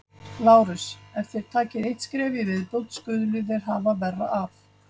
LÁRUS: Ef þér takið eitt skref í viðbót skuluð þér hafa verra af!